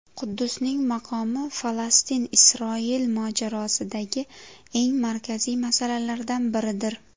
Quddusning maqomi Falastin-Isroil mojarosidagi eng markaziy masalalardan biridir.